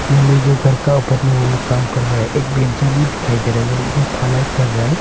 यहां में जो घर का ऊपर में वो लोग काम कर रहा है एक बेंचा भी दिखाई दे रहा है और ढलाई कर रहा है।